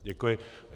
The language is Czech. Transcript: Děkuji.